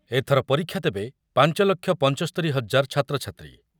ଏଥର ପରୀକ୍ଷା ଦେବେ ପାଞ୍ଚ ଲକ୍ଷ ପଞ୍ଚସ୍ତରି ହଜାର ଛାତ୍ରଛାତ୍ରୀ